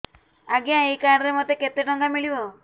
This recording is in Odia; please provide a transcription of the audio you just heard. ଆଜ୍ଞା ଏଇ କାର୍ଡ ରେ ମୋତେ କେତେ ଟଙ୍କା ମିଳିବ